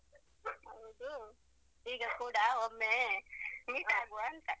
ಹೌದು, ಈಗ ಕೂಡ ಒಮ್ಮೆ meet ಆಗುವ ಅಂತ.